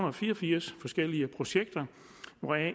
og fire og firs forskellige projekter hvoraf